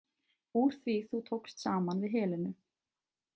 Úr því þú tókst saman við Helenu.